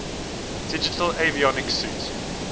digital avionics suite